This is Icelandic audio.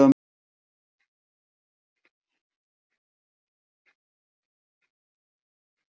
Við fáum þá í okkur rafstraum ef við snertum málmhylki tækisins.